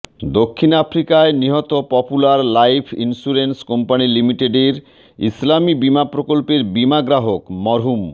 দক্ষিণ আফ্রিকায় নিহত Popular Life Insurance Company Limited এর ইসলামী বীমা প্রকল্পের বীমা গ্রাহক মরহুম